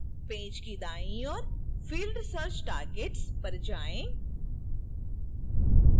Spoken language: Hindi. पेज के दाईं ओर field search targets पर जाएँ